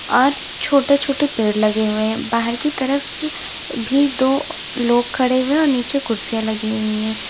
और छोटे छोटे पेड़ लगे हुए हैं बाहर की तरफ भी दो लोग खड़े हुए और नीचे कुर्सियां लगी हुई है।